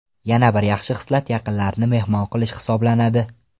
Yana bir yaxshi xislat yaqinlarni mehmon qilish hisoblanadi.